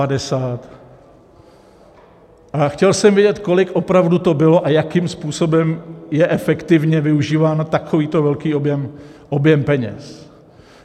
A chtěl jsem vědět, kolik opravdu to bylo a jakým způsobem je efektivně využíván takovýto velký objem peněz.